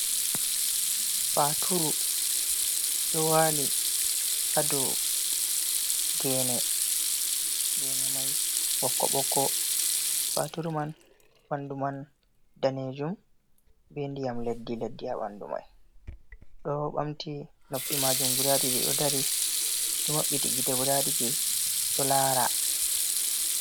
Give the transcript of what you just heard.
Faturu ɗo waali ha dou genee, genemai ɓokko ɓokko. Faturu man ɓandu man danejum be ndiyam leddi leddi ha ɓandu mai. Ɗo ɓamti noppi majum guda ɗiɗi, ɗo dari ɗo mabɓiti gitee guda ɗiɗi ɗo lara.